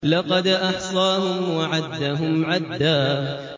لَّقَدْ أَحْصَاهُمْ وَعَدَّهُمْ عَدًّا